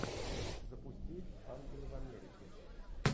запусти ангелы в америке